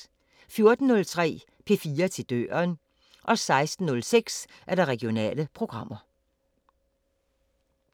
14:03: P4 til døren 16:06: Regionale programmer